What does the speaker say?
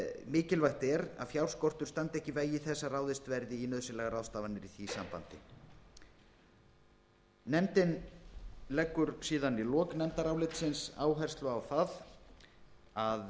mikilvægt er að fjárskortur standi ekki í vegi þess að ráðist verði í nauðsynlegar ráðstafanir í því sambandi nefndin leggur síðan í lok nefndarálitsins áherslu á það að